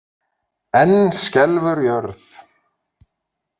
Enn skelfur jörð